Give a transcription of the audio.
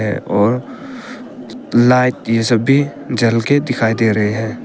और लाइट ये सब भी जल के दिखाई दे रहे है।